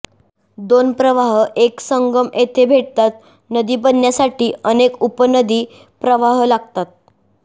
दोन प्रवाह एक संगम येथे भेटतात नदी बनण्यासाठी अनेक उपनदी प्रवाह लागतात